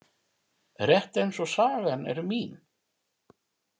Rétt eins og sagan er mín.